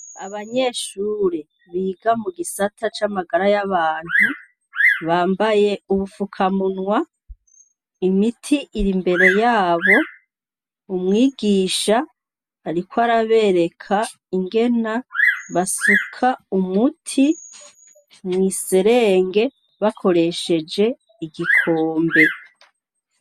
Abanyeshure biga mu gisata c'amagara y'abantu bambaye ubupfukamunwa imiti iri imbere yabo umwigisha, ariko arabereka ingena basuka umuti mw'iserengebe koresheje igikombe.